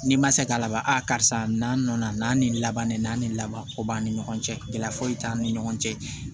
N'i ma se k'a laban a karisa n'a nɔ na n'an ni laban ni n'an ni laban ko b'an ni ɲɔgɔn cɛ gɛlɛya foyi t'an ni ɲɔgɔn cɛ